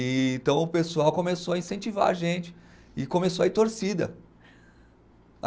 E então o pessoal começou a incentivar a gente e começou a ir torcida.